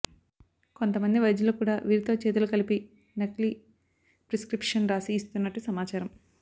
కొంత మంది వైద్యులు కూడా వీరితో చేతులు కలిపి నకిలీ ప్రిస్క్రిప్షన్ రాసి ఇస్తున్నట్టు సమాచారం